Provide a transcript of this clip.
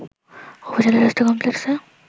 উপজেলা স্বাস্থ্য কমপ্লেক্সে